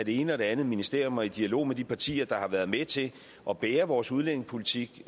ene og det andet ministerium og i dialog med de partier der har været med til at bære vores udlændingepolitik